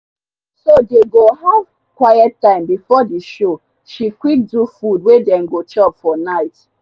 so dey go have quite time b4 the show she quick do food wey dem go chop for night.